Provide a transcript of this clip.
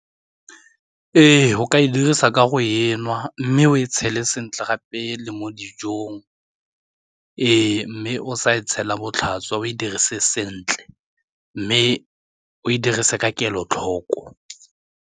Ee, go ka e dirisa ka go e nwa mme o e tshele sentle gape le mo dijong, ee mme o sa e tshela botlhaswa o e dirise sentle mme o e dirise ka kelotlhoko.